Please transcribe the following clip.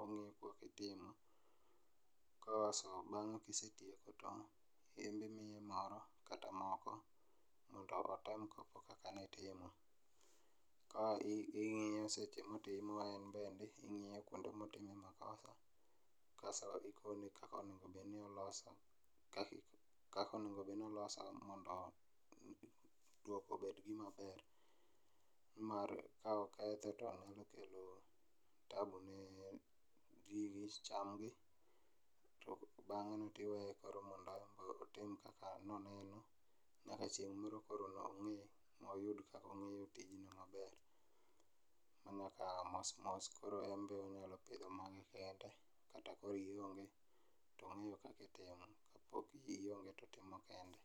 ong'e go kaka itimo kso mano kisetieko to in be imiye moro kata moko otem go kaki timo ,ka ing'iyo seche motimo en bende ing'iyo kuonde motime makosa kaso ikone kaka onego bed ni oloso mondo duoko obed gima ber ni mar ka okethe to nyalo kelo tabu ne gigi cham gi to bang'e no tiweye mondo otim kaka noneno nyaka chieng' moro koro nong'e mondo oyud kaka ong'eyo tijni maber mana koro ka mosmos koro en be onyalo pidho mare kende kata koro iong'e to ong'eyo kaka otimo kapod ing'e to ong'eyo kaka otimo